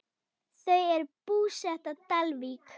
Þau eru búsett á Dalvík.